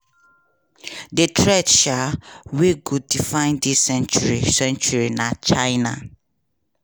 "di threat um wey go define dis century century na china.